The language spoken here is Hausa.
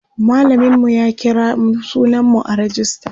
mallamin mu ya kira sunan mu a rejista